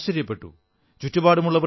photo കണ്ട് ഞാൻ ആശ്ചര്യപ്പെട്ടു